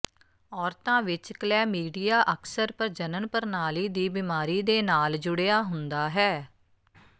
ਔਰਤਾਂ ਵਿੱਚ ਕਲੈਮੀਡੀਆ ਅਕਸਰ ਪ੍ਰਜਨਨ ਪ੍ਰਣਾਲੀ ਦੀ ਬਿਮਾਰੀ ਦੇ ਨਾਲ ਜੁੜਿਆ ਹੁੰਦਾ ਹੈ